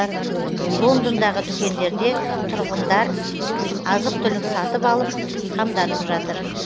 лондондағы дүкендерде тұрғындар азық түлік сатып алып қамданып жатыр